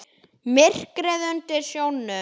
Myrkrið undir sjónum.